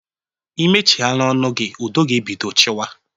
Imechighana ọnụ gị, udo ga-ebido chịwa